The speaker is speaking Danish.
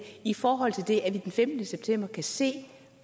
i forhold til det at vi den femtende september kan se